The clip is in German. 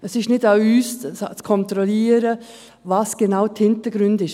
Es ist nicht an uns, zu kontrollieren, welches genau die Hintergründe sind.